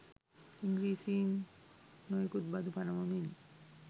ඉංග්‍රීසින් නොයෙකුත් බදු පනවමින්